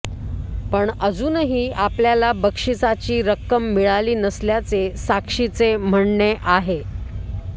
पण अजूनही आपल्याला बक्षिसाची रक्कम मिळाली नसल्याचे साक्षीचे म्हणणे आहे